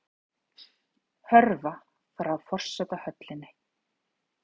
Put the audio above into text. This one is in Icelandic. Hörfa frá forsetahöllinni